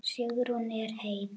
Sigrún er hetja!